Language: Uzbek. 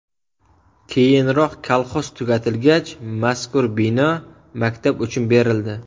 Keyinroq kolxoz tugatilgach, mazkur bino maktab uchun berildi.